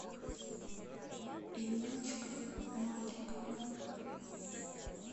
инночкой маликовой